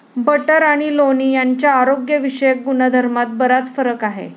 Butter आणि लोणी यांच्या आरोग्यविषयक गुणधर्मात बराच फरक आहे.